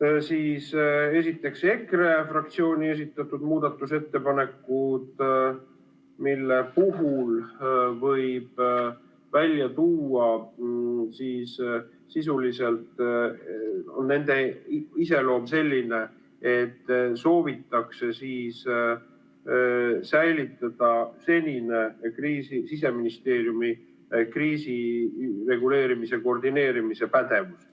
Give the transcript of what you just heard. esiteks, EKRE fraktsioon esitas muudatusettepanekud, mille sisuline iseloom on selline, et soovitakse säilitada senine Siseministeeriumi kriisireguleerimise koordineerimise pädevus.